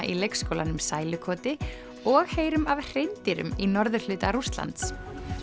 í leikskólanum sælukoti og heyrum af hreindýrum í norðurhluta Rússlands